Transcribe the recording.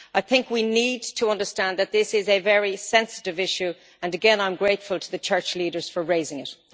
I think we need to understand that this is a very sensitive issue, and again I am grateful to the Church leaders for raising it.